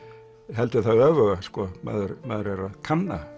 heldur það öfuga sko maður maður er að kanna